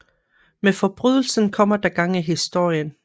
Med forbrydelsen kommer der gang i historien